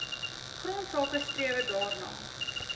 grondsake strewe daarna